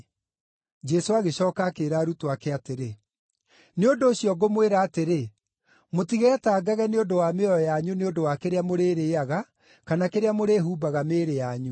Jesũ agĩcooka akĩĩra arutwo ake atĩrĩ, “Nĩ ũndũ ũcio ngũmwĩra atĩrĩ, mũtigetangage nĩ ũndũ wa mĩoyo yanyu nĩ ũndũ wa kĩrĩa mũrĩrĩĩaga, kana kĩrĩa mũrĩhumbaga mĩĩrĩ yanyu.